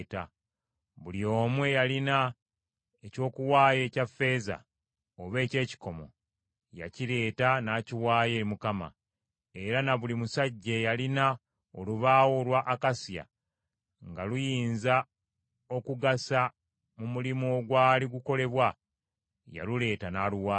Buli omu eyalina eky’okuwaayo ekya ffeeza oba eky’ekikomo, yakireeta n’akiwaayo eri Mukama ; era na buli musajja eyalina olubaawo olwa akasiya nga luyinza okugasa mu mulimu ogwali gukolebwa, yaluleeta n’aluwaayo.